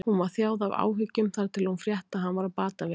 Hún var þjáð af áhyggjum þar til hún frétti að hann var á batavegi.